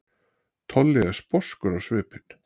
Tolli er sposkur á svipinn.